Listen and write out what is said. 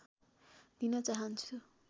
दिन चाहन्छु